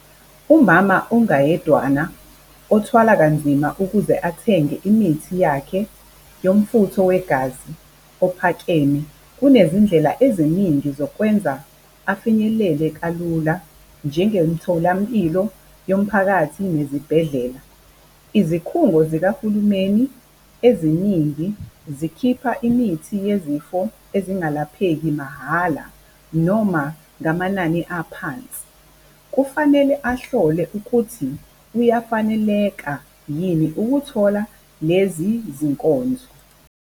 Umama ongayedwana othwala kanzima ukuze athenge imithi yakhe yomfutho wegazi ophakeme kunezindlela eziningi zokwenza afinyelele kalula, njengemtholampilo yomphakathi nezibhedlela. Izikhungo zikahulumeni eziningi zikhipha imithi yezifo ezingalapheki mahhala noma ngamanani aphansi. Kufanele ahlole ukuthi kuyafaneleka yini ukuthola lezi zinkonzo.